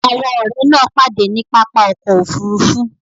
Àwọn ọ̀rẹ́ náà pàdé ní pápá ọkọ̀ Òfurufú